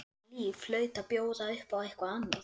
Þetta líf hlaut að bjóða upp á eitthvað annað.